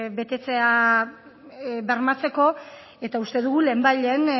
betetzea bermatzeko eta uste dugu lehenbailehen